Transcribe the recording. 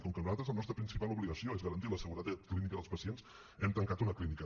com que nosaltres la nostra principal obligació és garantir la seguretat clínica dels pacients hem tancat una clínica